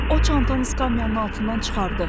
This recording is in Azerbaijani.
O çantanı skamyanın altından çıxardı.